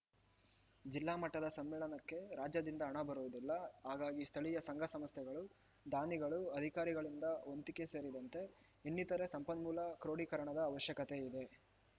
ಜಿಲ್ಲಾ ಮಟ್ಟದ ಸಮ್ಮೇಳನಕ್ಕೆ ರಾಜ್ಯದಿಂದ ಹಣ ಬರುವುದಿಲ್ಲ ಹಾಗಾಗಿ ಸ್ಥಳೀಯ ಸಂಘ ಸಂಸ್ಥೆಗಳು ದಾನಿಗಳು ಅಧಿಕಾರಿಗಳಿಂದ ವಂತಿಕೆ ಸೇರಿದಂತೆ ಇನ್ನಿತರೇ ಸಂಪನ್ಮೂಲ ಕ್ರೋಡೀಕರಣದ ಅವಶ್ಯಕತೆಯಿದೆ